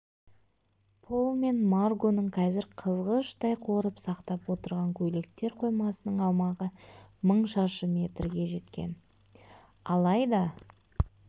пол мен маргоның қазір қызғыштай қорып сақтап отырған көйлектер қоймасының аумағы мың шаршы метрге жеткен алайда